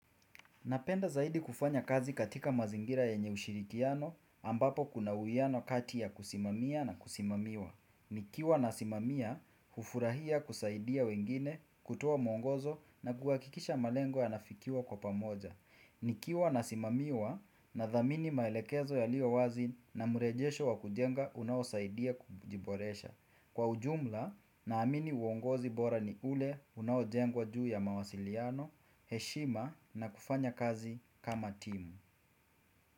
Napenda zaidi kufanya kazi katika mazingira yenye ushirikiano ambapo kuna uwiano kati ya kusimamia na kusimamiwa. Nikiwa nasimamia, hufurahia kusaidia wengine, kutoa mwongozo na kuhakikisha malengo yanafikiwa kwa pamoja. Nikiwa nasimamiwa, nadhamini maelekezo yaliyo wazi na mrejesho wa kujenga unaosaidia kujiboresha. Kwa ujumla, naamini uongozi bora ni ule unaojengwa juu ya mawasiliano, heshima na kufanya kazi kama timu.